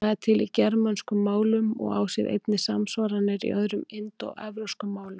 Það er til í germönskum málum og á sér einnig samsvaranir í öðrum indóevrópskum málum.